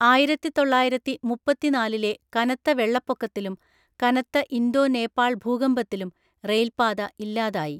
ആയിരത്തിതൊള്ളായിരത്തിമുപ്പത്തിനാലിലെ കനത്ത വെള്ളപ്പൊക്കത്തിലും കനത്ത ഇന്തോ നേപ്പാൾ ഭൂകമ്പത്തിലും റെയിൽപ്പാത ഇല്ലാതായി.